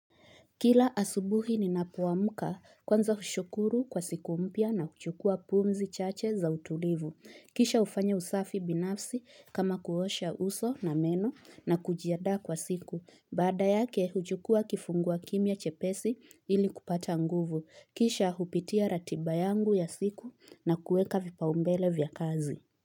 Kila asubuhi ninapo amka, kwanza hushukuru kwa siku mpya na huchukua pumzi chache za utulivu. Kisha hufanya usafi binafsi, kama kuosha uso na meno na kujiandaa kwa siku. Baada yake, huchukua kifungua kimya chepesi ili kupata nguvu. Kisha hupitia ratiba yangu ya siku na kueka vipaumbele vya kazi.